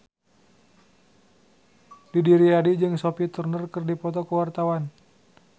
Didi Riyadi jeung Sophie Turner keur dipoto ku wartawan